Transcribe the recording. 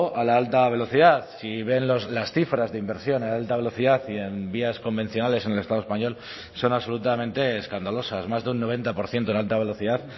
a la alta velocidad si ven las cifras de inversión en alta velocidad y en vías convencionales en el estado español son absolutamente escandalosas más de un noventa por ciento en la alta velocidad